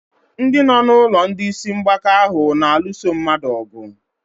Ndị nọ n'ụlọ ndị isi mgbaka ahụ na-alụso mmadụ ọgụ.